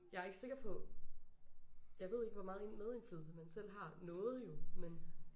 Jeg er ikke sikker på jeg ved ikke hvor meget medindflydelse man selv har. Noget jo men